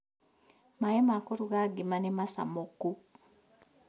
Maĩ ma kũruga ngima nĩmacamũku